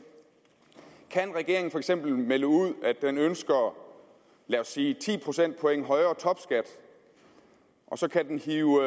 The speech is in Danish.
kan regeringen for eksempel melde ud at den ønsker lad os sige ti procentpoint højere topskat og så kan den hive